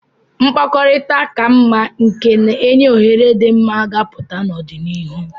Mkpakọrịta ka mma nke na-enye ohere dị mma ga-apụta n'ọdịnihu.